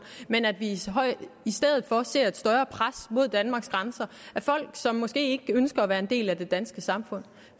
men at vi i stedet for ser et større pres mod danmarks grænser af folk som måske ikke ønsker at være en del af danske samfund